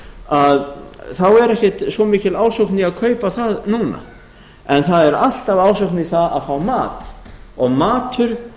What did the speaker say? að þá er ekki svo mikil ásókn í að kaupa það núna en það er alltaf ásókn í það að fá mat og matur